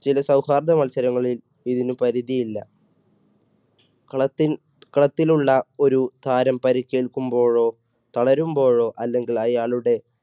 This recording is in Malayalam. ചില സൗഹാർദ്ദ മത്സരങ്ങളിൽ ഇതിന് പരിധിയില്ല കളത്തിൽ കളത്തിലുള്ള ഒരു താരം പരിക്കേൽക്കുമ്പോഴോ തളരുമ്പോഴോ അല്ലെങ്കിൽ അയാളുടെ,